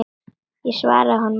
Ég svaraði honum ekki.